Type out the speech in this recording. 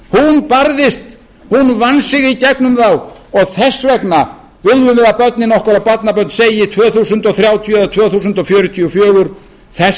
hún barðist hún vann sig í gegnum þá og þess vegna viljum við að börnin okkar og barnabörn segi tvö þúsund þrjátíu eða tvö þúsund fjörutíu og fjögur þess